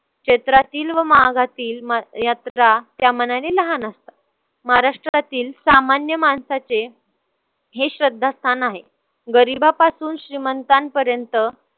क्षेत्रातील व मागातील यात्रा त्यामानाने लहान असतात. महाराष्ट्रातील सामान्य माणसाचे हे श्रद्धास्थान आहे. गरिबापासून श्रीमंतांपर्यंत